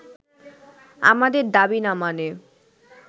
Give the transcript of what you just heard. আমাদের দাবি না মানে